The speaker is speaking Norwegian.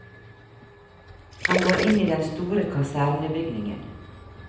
Han går inn i den store kasernebygningen.